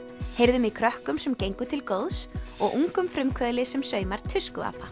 heyrðum í krökkum sem gengu til góðs og ungum frumkvöðli sem saumar